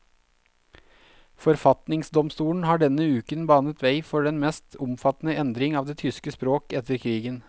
Forfatningsdomstolen har denne uken banet vei for den mest omfattende endring av det tyske språk etter krigen.